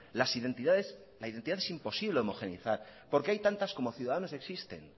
la identidad es imposible de homogenizar porque hay tantas como ciudadanos existen